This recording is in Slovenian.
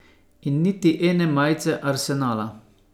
In niti ene majice Arsenala.